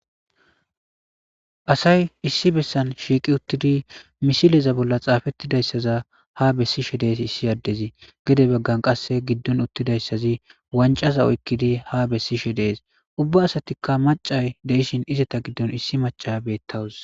Asay issi bolla shiqi uttidi misiliya bolla xapetidaysaza ha besishe dettes issi adezi gede bagan gidon iuttidaysi wanc'aza ha besishe des ubba asa mac'a de'ishin issi mac'aya ha bettawus.